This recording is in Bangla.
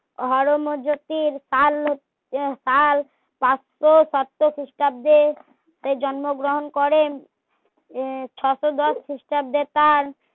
হর্মযোতির সাল সাতশো ষষ্ট খ্রিস্টাব্দে সে জন্ম গ্রহণ করেন এ ছশো দশ খ্রিস্টাব্দে তার